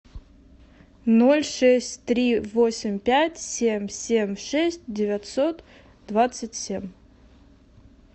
ноль шесть три восемь пять семь семь шесть девятьсот двадцать семь